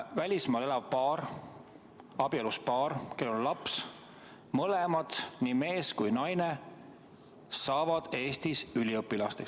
Välismaal elav abielus paar, neil on laps, nii mees kui ka naine saavad Eestis üliõpilasteks.